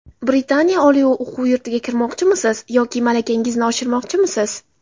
Britaniya oliy o‘quv yurtiga kirmoqchimisiz yoki malakangizni oshirmoqchimisiz?